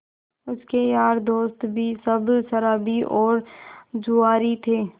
उसके यार दोस्त भी सब शराबी और जुआरी थे